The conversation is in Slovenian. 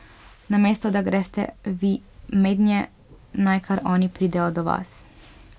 Namesto da greste vi mednje, naj kar oni pridejo do vas.